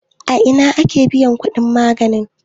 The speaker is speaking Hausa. a Ina ake biyan kudin maganin?